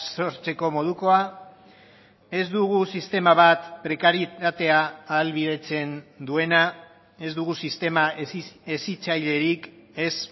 sortzeko modukoa ez dugu sistema bat prekarietatea ahalbidetzen duena ez dugu sistema hezitzailerik ez